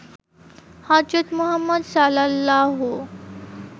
হজরত মুহাম্মদ সাল্লাল্লাহু